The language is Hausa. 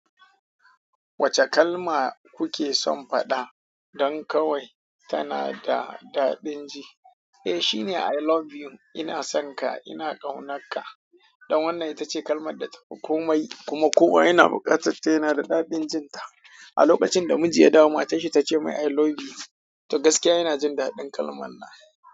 Wace kalma kuke son faɗa don kawai tana da daɗin ji? Eh, shine "I love you". Ina son ka, ina ƙaunanka. Don wannan, ita ce kalmar da ta fi komai kuma kowa yana buƙatarta. Yana da daɗin jinta. A lokacin da miji ya damu, matarsa take mai "I love you", to gaskiya yana jin daɗin kalman nan.